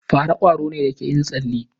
Fara kwaro ne da ke yin tsale.